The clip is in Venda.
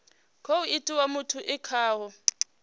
khou itiwa muthu e khaho